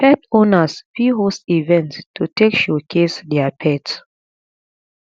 pet owners fit host event to take showcase their pet